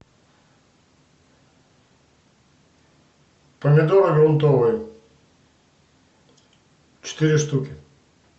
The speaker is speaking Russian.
помидоры грунтовые четыре штуки